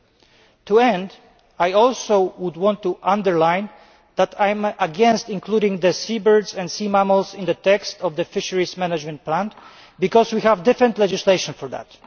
Finally, I would also like to underline that I am against including seabirds and sea mammals in the text of the Fisheries Management Plan because we have different legislation for that.